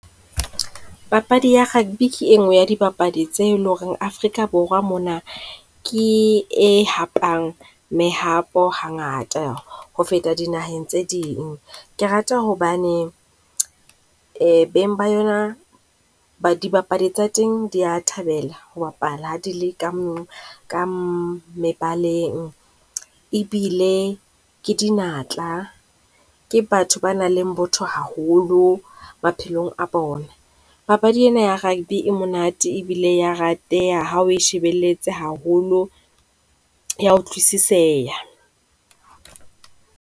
Papadi ya rugby ke e nngwe ya dibapadi tse e leng ho re Afrika mona ke e hapang mehato ha ngata ho feta dinaheng tse ding. Ke rata hobane beng ba yona, dibapadi tsa teng di ya thabela ho bapala ha di le ka , ka mehaleng. Ebile ke dinatla, ke batho ba nang le botho haholo maphelong a bona. Papadi ye na ya Rugby e monate e bile ya rateha ha o e shebelletse haholo, ya o utlwisiseha.